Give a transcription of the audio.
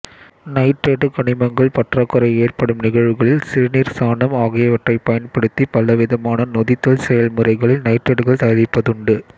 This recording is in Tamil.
நைட்ரேட்டு கனிமங்கள் பற்றாக்குறை ஏற்படும் நிகழ்வுகளில் சிறுநீர் சாணம் ஆகியவற்றைப் பயன்படுத்தி பலவிதமான நொதித்தல் செயல்முறைகளில் நைட்ரேட்டுகள் தயாரிப்பதுண்டு